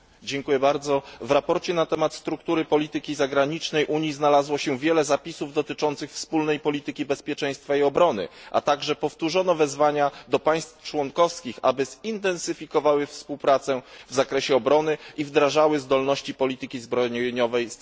W sprawozdaniu na temat struktury polityki zagranicznej Unii znalazło się wiele zapisów dotyczących wspólnej polityki bezpieczeństwa i obrony, a także powtórzone zostały wezwania do państw członkowskich, aby zintensyfikowały współpracę w zakresie obrony i wdrażały potencjał polityki zbrojeniowej samej Unii.